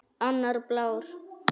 Annar blár.